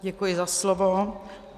Děkuji za slovo.